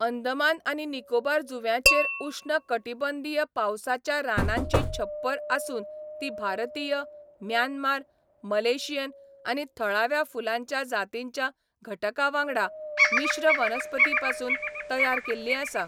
अंदमान आनी निकोबार जुंव्यांचेर उश्ण कटिबंधीय पावसाच्या रानांची छप्पर आसून ती भारतीय, म्यानमार, मलेशियन आनी थळाव्या फुलांच्या जातींच्या घटकांवांगडा मिश्र वनस्पतीपसून तयार केल्ली आसा.